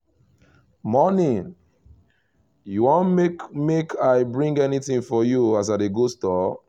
morning! you want make make i bring anything for you as i dey go store?